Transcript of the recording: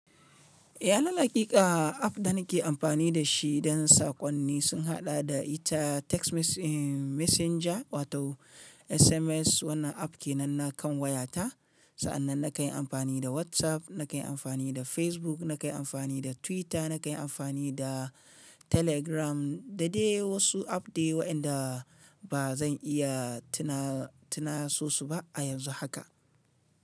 Iyalal haƙiƙa app dana ke amfani da shi don saƙonni sun haɗa da ita text messenger wato SMS. Wannan app ke nan na kan wayata. Sa'annan na kan yi amfani da WhatsApp, na kan yi amfani da Facebook, na kai amfani da Twitter, na kai amfani da Telegram da dai wasu app dai waɗanda ba zan iya tuna tunaso su ba a yanzu haka.